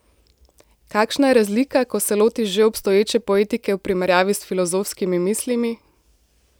Kakšna je razlika, ko se lotiš že obstoječe poetike v primerjavi s filozofskimi mislimi?